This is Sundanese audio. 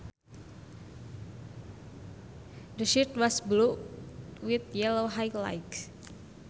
The shirt was blue with yellow highlights